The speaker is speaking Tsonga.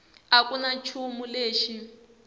a ku na nchumu lexi